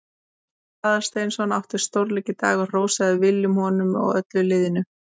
Baldur Aðalsteinsson átti stórleik í dag og hrósaði Willum honum og öllu liðinu.